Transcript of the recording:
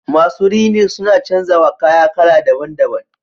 Masu rini suna canza wa kaya kala daban- daban.